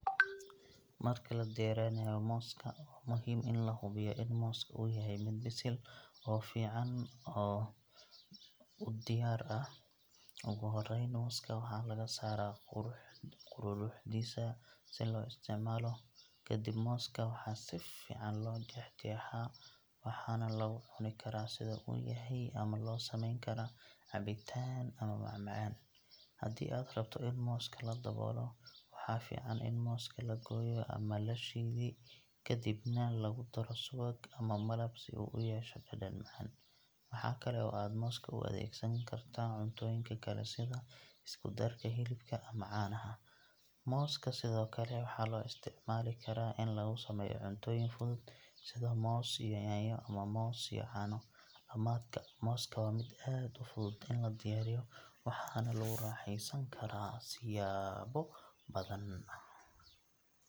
Marka la diyaarinayo mooska, waa muhiim in la hubiyo in mooska uu yahay mid bisil oo si fiican u diyaar ah. Ugu horreyn, mooska waxaa laga saaraa quruuruxdiisa si loo isticmaalo. Kadib, mooska waxaa si fiican loo jeex-jeexaa, waxaana lagu cuni karaa sida uu yahay ama loo sameyn karaa cabitaan ama macmacaan. Haddii aad rabto in mooska la dubo, waxaa fiican in mooska la gooyo ama la shiidi ka dibna lagu daro subag ama malab si uu u yeesho dhadhan macaan. Waxa kale oo aad mooska u adeegsan kartaa cuntooyinka kale sida isku-darka hilibka ama caanaha. Mooska sidoo kale waxaa loo isticmaali karaa in lagu sameeyo cuntooyin fudud sida moos iyo yaanyo ama moos iyo caano. Dhamaadka, mooska waa mid aad u fudud in la diyaariyo, waxaana lagu raaxeysan karaa siyaabo badan.